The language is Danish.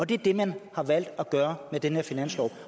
det er det man har valgt at gøre med den her finanslov